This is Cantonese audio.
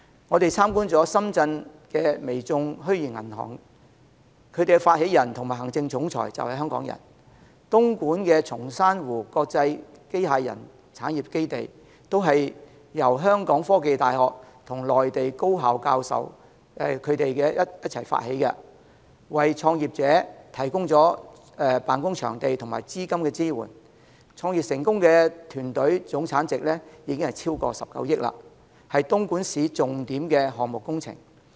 我們參觀了深圳的微眾虛擬銀行，其發起人及行政總裁便是香港人；東莞的松山湖國際機器人產業基地，便是由香港科技大學與內地高校教授們發起，為創業者提供辦公場地和資金支援，創業成功的團隊總產值已超過19億元，是東莞市的重點項目工程。